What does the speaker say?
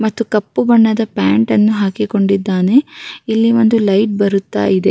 ಮತ್ತು ಕಪ್ಪು ಬಣ್ಣದ ಪ್ಯಾಂಟ್‌ ಅನ್ನು ಹಾಕಿಕೊಂಡಿದ್ದಾನೆ ಇಲ್ಲಿ ಒಂದು ಲೈಟ್‌ ಬರುತ್ತಾ ಇದೆ.